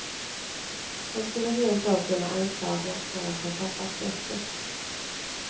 Han skulle rentav kunna anklagas för att ha tappat greppet.